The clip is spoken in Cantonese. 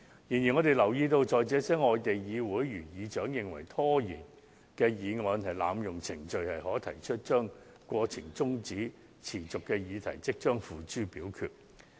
然而，我們留意到在這些外地議會，當議事長認為拖延議案是濫用程序，便可即時把中止待續的待決議題付諸表決。